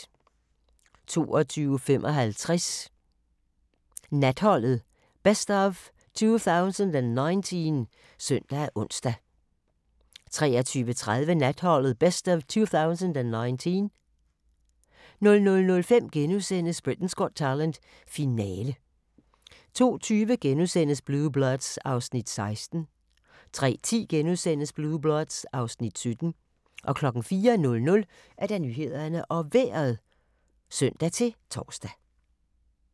22:55: Natholdet - best of 2019 (søn og ons) 23:30: Natholdet - best of 2019 00:05: Britain's Got Talent - finale * 02:20: Blue Bloods (Afs. 16)* 03:10: Blue Bloods (Afs. 17)* 04:00: Nyhederne og Vejret (søn-tor)